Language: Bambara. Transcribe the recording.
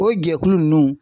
O jɛkulu nunnu